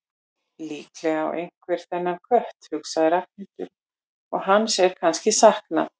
Líklega á einhver þennan kött, hugsaði Ragnhildur, og hans er kannski saknað.